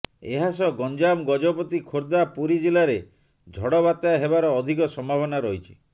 ଏହାସହ ଗଞ୍ଜାମ ଗଜପତି ଖୋର୍ଦ୍ଧା ପୁରୀ ଜିଲ୍ଲାରେ ଝଡବାତ୍ୟା ହେବାର ଅଧିକ ସମ୍ଭାବନା ରହିଛି